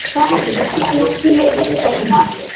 ଯାଗା ନଥିଲେ କେନ୍ତା କରବା